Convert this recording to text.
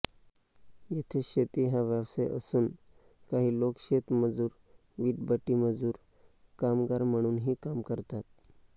येथे शेती हा व्यवसाय असून काही लोक शेतमजूर वीटभट्टीमजूर कामगार म्हणूनही काम करतात